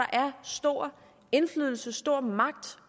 stor indflydelse stor magt